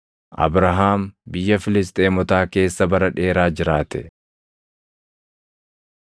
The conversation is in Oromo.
Abrahaam biyya Filisxeemotaa keessa bara dheeraa jiraate.